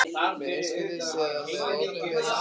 með einkaskiptum eða með opinberum skiptum.